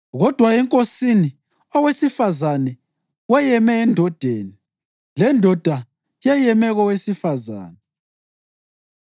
Kodwa eNkosini, owesifazane weyeme endodeni, lendoda yeyeme kowesifazane.